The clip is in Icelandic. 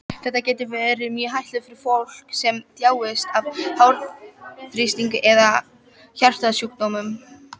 Þetta getur verið mjög hættulegt fyrir fólk sem þjáist af háþrýstingi eða hjartasjúkdómum.